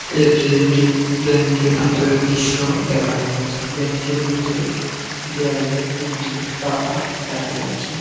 এটি একটি ব্যাঙ্ক এর ভিতরে দৃশ্য দেখানো হয়েছে ব্যাঙ্ক এর ভিতরে দেয়ালে একটি পাখা দেখা যাচ্ছে।